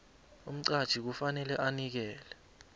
umqatjhi kufanele anikele